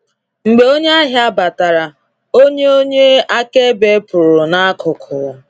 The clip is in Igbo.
Mgbe onye ahia batara, onye onye akaebe pụrụ n'akụkụ.